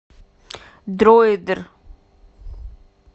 дроидер